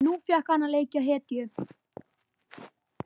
Nú fékk hann að leika hetju.